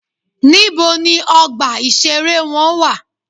Níbo ni ọgbà ìṣeré wọn wà?